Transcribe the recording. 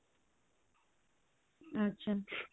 ଆଚ୍ଛା